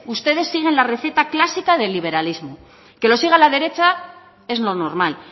ustedes siguen la receta clásica del liberalismo que lo siga la derecha es lo normal